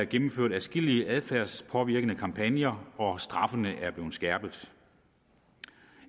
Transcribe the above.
gennemført adskillige adfærdspåvirkende kampagner og straffene er blevet skærpet